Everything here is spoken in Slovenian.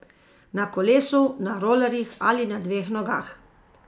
Na kolesu, na rolerjih ali na dveh nogah.